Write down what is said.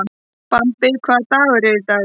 Bambi, hvaða dagur er í dag?